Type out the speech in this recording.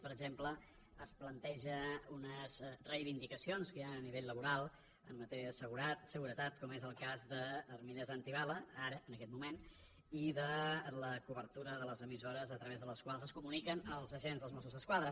per exemple es plantegen unes reivindicacions que hi han a nivell laboral en matèria de seguretat com és el cas d’armilles antibales ara en aquest moment i de la cobertura de les emissores a través de les quals es comuniquen els agents dels mossos d’esquadra